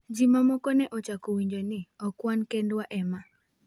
"Ji mamoko ne ochako winjo ni 'ok wan kendwa e ma'.